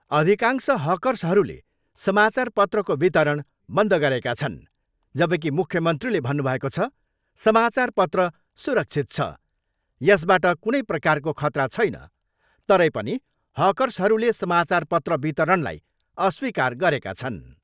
अधिकांश हकर्सहरूले समाचारपत्रको वितरण बन्द गरेका छन् जबकि मुख्यमन्त्रीले भन्नुभएको छ, समाचारपत्र सुरक्षित छ, यसबाट कुनै प्रकारको खतरा छैन तरै पनि हर्कसहरूले समाचारपत्र वितरणलाई अस्वीकार गरेका छन्।